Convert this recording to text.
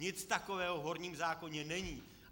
Nic takového v horním zákoně není.